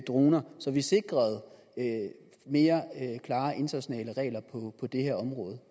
droner så vi sikrede mere klare internationale regler på det her område